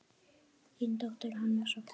Þín dóttir, Hanna Soffía.